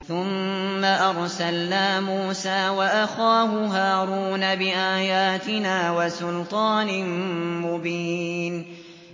ثُمَّ أَرْسَلْنَا مُوسَىٰ وَأَخَاهُ هَارُونَ بِآيَاتِنَا وَسُلْطَانٍ مُّبِينٍ